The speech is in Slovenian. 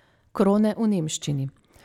Krone v nemščini.